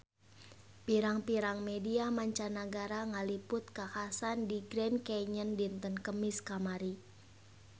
Pirang-pirang media mancanagara ngaliput kakhasan di Grand Canyon dinten Kemis kamari